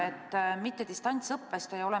Hea minister!